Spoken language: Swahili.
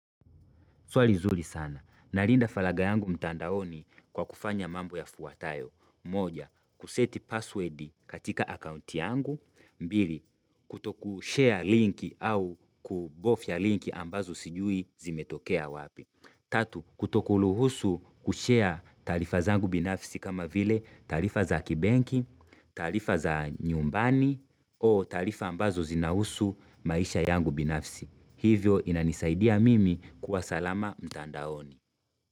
Swali zuri sana. Nalinda faraga yangu mtandaoni kwa kufanya mambo yafuatayo. Moja, kuseti password katika account yangu. Mbili, kutokushare link au kubofya link ambazo sijui zimetokea wapi. Tatu, kutokuruhusu kushare tarifa zangu binafsi kama vile tarifa za kibanki, tarifa za nyumbani o tarifa ambazo zinahusu maisha yangu binafsi. Hivyo inanisaidia mimi kuwa salama mtandaoni.